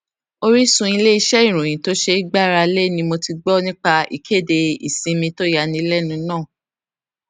orísun iléiṣẹ ìròyìn tó ṣeé gbára lé ni mo ti gbó nípa ìkéde ìsinmi tó yánilẹnu náà